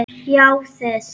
Já þið!